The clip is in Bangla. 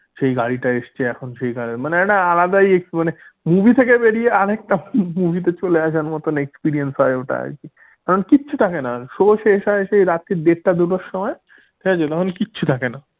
সেই গাড়িটা এসছে এখন মানে একটা আলাদাই মানে movie থেকে বেরিয়ে আরেকটা movie তে চলে আসার মতন experience হয় ওটা আর কি তখন কিছু থাকে না show শেষ হয় সেই রাত্রি দেড়টা দুটোর সময় ঠিক আছে তখন কিছু থাকে না।